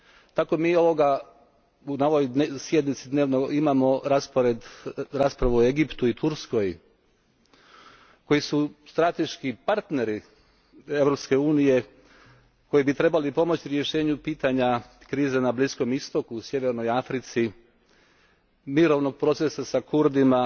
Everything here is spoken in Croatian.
Tako i mi na ovoj sjednici imamo raspravu o Egiptu i Turskoj koji su strateški partneri Europske unije, koji bi trebali pomoći rješenju pitanja krize na Bliskom istoku i u sjevernoj Africi, mirovnog procesa s Kurdima,